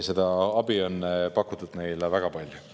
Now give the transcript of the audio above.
" Seda abi on pakutud neile väga palju.